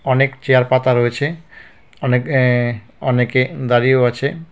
অনেক চেয়ার পাতা রয়েছে অনেক এ অনেকে দাঁড়িয়েও আছে.